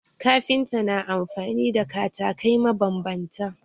Kafinta na amfani da katakai mabambanta